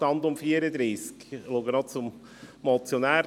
Ich blicke zum Motionär.